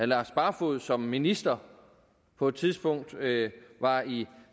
lars barfoed som minister på et tidspunkt var i